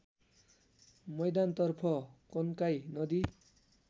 मैदानतर्फ कन्काई नदी